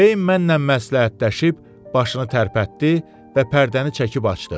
Kleyin mənlə məsləhətləşib başını tərpətdi və pərdəni çəkib açdı.